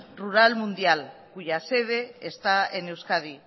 rural mundial cuya sede está en euskadi